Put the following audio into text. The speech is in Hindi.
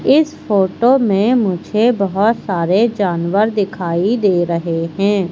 इस फोटो में मुझे बहुत सारे जानवर दिखाई दे रहे हैं।